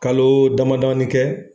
Kalo dama damanin kɛ